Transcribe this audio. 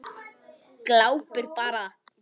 Glápir bara.